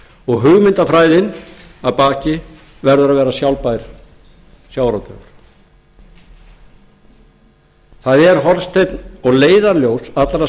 og hugmyndafræðin að baki verður að vera sjálfbær sjávarútvegur hornsteinn og leiðarljós allrar